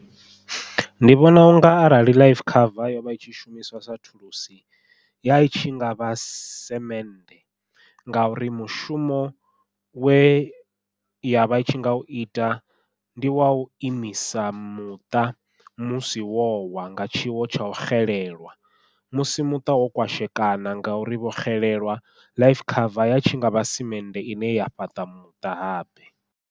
Ndi vhona unga arali life cover yovha itshi shumiswa sa thulusi yai tshi ngavha semende, ngauri mushumo we yavha i tshi nga u ita ndi wau imisa muṱa musi wo wa nga tshiwo tsha u xelelwa musi muṱa wo kwashekana ngauri vho xelelwa life cover ya tshi ngavha semende ine ya fhaṱa muṱa habe.